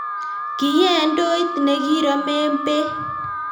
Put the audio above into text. Kiyee ndoit ne kiromen beek